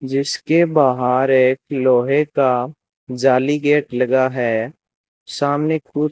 जिसके बाहर एक लोहे का जाली गेट लगा है सामने कु --